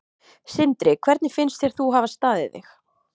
Sindri: Hvernig finnst þér þú hafa staðið þig?